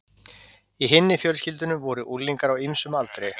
Í hinni fjölskyldunni voru unglingar á ýmsum aldri.